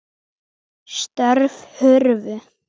Störf hurfu.